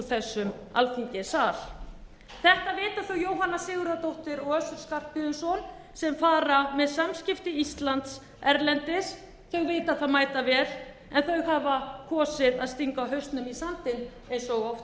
þessum alþingissal þetta vita þau jóhanna sigurðardóttir og össur skarphéðinsson sem fara með samskipti íslands erlendis þau vita það mætavel en þau hafa kosið að stinga hausnum í sandinn eins og oft áður á ríkisstjórnarfundi